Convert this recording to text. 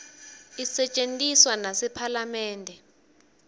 isetjentiswa nasephalamende